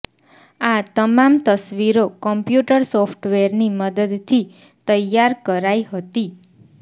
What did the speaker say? આ તમામ તસવીરો કોમ્પ્યુટર સોફ્ટવેરની મદદથી તૈયાર કરાઈ હતી